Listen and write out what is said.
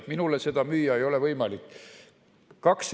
Minule seda müüa ei ole võimalik.